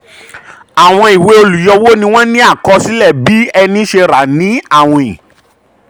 àwọn ìwée olùyọwó ni wọ́n ní akọsílẹ̀ um bí ẹni ṣe rà ní àwìn.